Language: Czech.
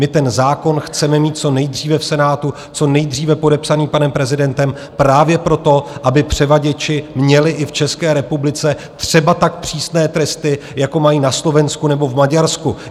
My ten zákon chceme mít co nejdříve v Senátu, co nejdříve podepsaný panem prezidentem, právě proto, aby převaděči měli i v České republice třeba tak přísné tresty, jako mají na Slovensku nebo v Maďarsku.